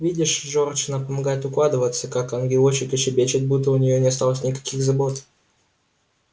видишь джордж она помогает укладываться как ангелочек и щебечет будто у неё не осталось никаких забот